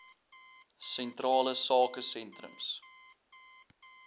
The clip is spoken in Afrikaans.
sentrale sake sentrums